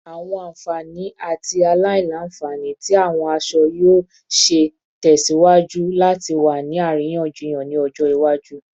Awọn anfani ati aila-nfani ti awọn aṣọ yoo ṣee ṣe tẹsiwaju lati wa ni ariyanjiyan ni ọjọ iwaju